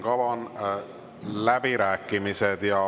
Avan läbirääkimised.